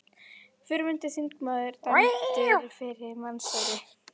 Fyrrverandi þingmaður dæmdur fyrir meinsæri